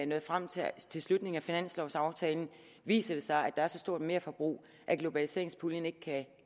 når frem til slutningen af finanslovaftalen viser det sig at der er så stort et merforbrug at globaliseringspuljen ikke kan